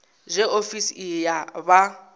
zwe ofisi iyi ya vha